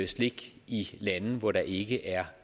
slik i lande hvor der ikke er